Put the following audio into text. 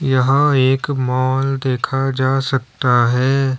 यहां एक मॉल देखा जा सकता है।